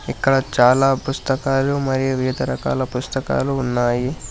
ఇక్కడ చాలా పుస్తకాలు మరియు వివిధ రకాల పుస్తకాలు ఉన్నాయి.